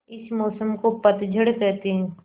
इस मौसम को पतझड़ कहते हैं